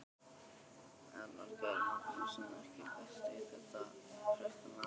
Elvar Geir Magnússon EKKI besti íþróttafréttamaðurinn?